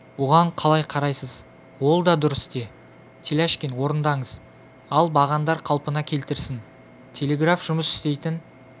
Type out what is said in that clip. бұған қалай қарайсыз ол да дұрыс те теляшкин орындаңыз ал бағандар қалпына келтірілсін телеграф жұмыс істейтін